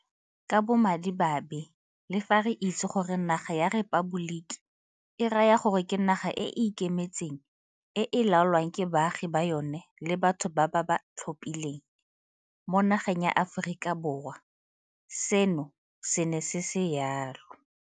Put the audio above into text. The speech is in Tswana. Ka bomadimabe le fa re itse gore naga ya rephaboliki e raya gore ke naga e e ikemetseng e e laolwang ke baagi ba yona le batho ba ba ba tlhophileng, mo nageng ya Aforika Borwa seno se ne se se jalo.